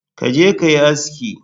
Ka je kayi asiki